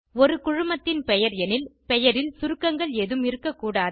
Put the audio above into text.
ஒரு குழுமத்தின் பெயர் எனில் பெயரில் சுருக்கங்கள் ஏதும் இருக்கக்கூடாது